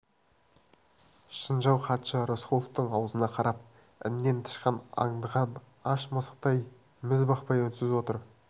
шынжау хатшы рысқұловтың аузына қарап іннен тышқан аңдыған аш мысықтай міз бақпай үнсіз отыр